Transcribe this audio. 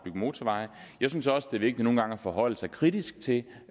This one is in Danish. motorveje jeg synes også det er vigtigt nogle gange at forholde sig kritisk til